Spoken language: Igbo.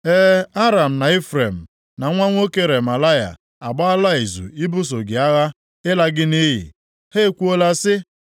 E, Aram, na Ifrem, na nwa nwoke Remalaya, agbaala izu ibuso gị agha ịla gị nʼiyi. Ha ekwuola sị,